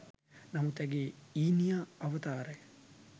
නමුත් ඇගේ ඊනියා අවතාරය